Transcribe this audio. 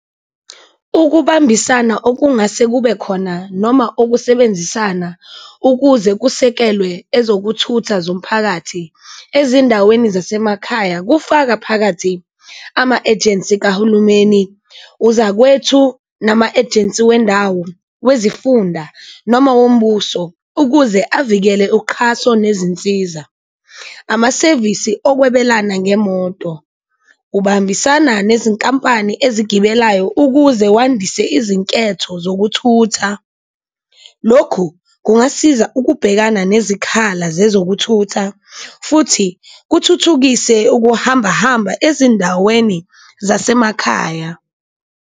Ukubambisana okungase kube khona noma okusebenzisana ukuze kusekelwe ezokuthutha zomphakathi ezindaweni zasemakhaya, kufaka phakathi ama-ejensi kahulumeni, uzakwethu nama-ejensi wendawo, wezifunda noma wombuso ukuze avikele uqhaso nezinsiza. Amasevisi okwebelana ngemoto, ubambisana nezinkampani ezigibelayo ukuze wandise izinketho zokuthutha, lokhu kungasiza ukubhekana nezikhala zezokuthutha futhi kuthuthukise ukuhambahamba ezindaweni zasemakhaya.